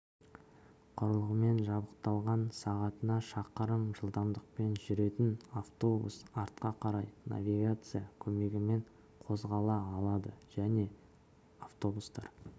құрылғымен жабықталған сағатына шақырым жылдамдықпен жүретін автобус артқа қарай навигация көмегімен қозғала алады жаңа автобустар